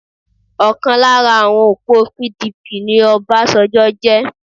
Ọ̀kan lára àwọn òpó PDP ni Obasanjo jẹ́